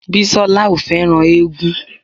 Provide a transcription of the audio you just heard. Bísọ́lá ò fẹ́ràn éégún